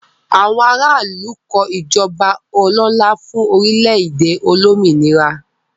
Àwọn ará ìlú kọ ìjọba ọlọ́lá fún orílẹ̀-èdè olómìnira.